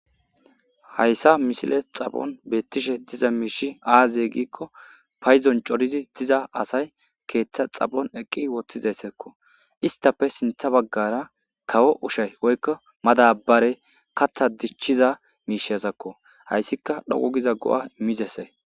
Hayssa messile xaaphphon bettishe diiza mishshi oaaze giiko paydon cooridi diiza assay keththa xaaphphon eqqidi woththidayssako isstappe sinththa baggara kawo oshshay woykko maddabarey kaththa dichiza mishshazako hayssika dhoqu giza go'oa immizayssako.